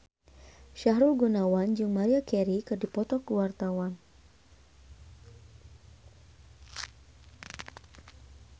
Sahrul Gunawan jeung Maria Carey keur dipoto ku wartawan